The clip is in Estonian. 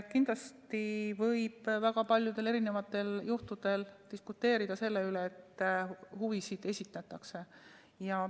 Kindlasti võib väga paljudel erisugustel juhtudel diskuteerida selle üle, et huvisid esindatakse.